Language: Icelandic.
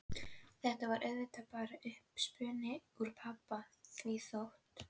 Þetta var auðvitað bara uppspuni úr pabba því þótt